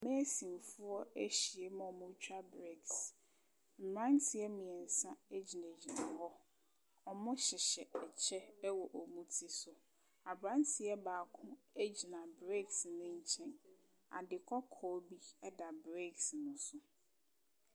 Meesinfoɔ ahyia mu a wɔretwa bleks. Mmranteɛ mmiɛnsa gyinagyina hɔ. Wɔhyehyɛ kyɛ wɔ wɔn ti so. Abranteɛ baako egyina bleks no nkyɛn. Ade kɔkɔ bi da breks no so.